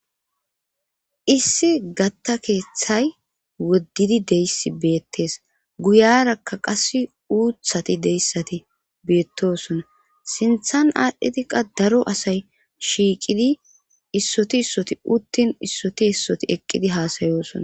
issi gatta keeththay woddidi deyssi beettes guyarakka qass uuthati deyssati beettosona sinthan aadhdhitiqa daro asay shiiqidi issoti issoti uttin issoti issoti eqqidi haasayoosona